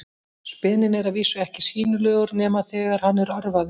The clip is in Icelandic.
Speninn er að vísu ekki sýnilegur nema þegar hann er örvaður.